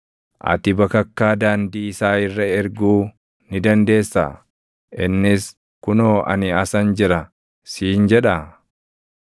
Ati bakakkaa daandii isaa irra erguu ni dandeessaa? Innis, ‘Kunoo ani asan jira’ siin jedhaa?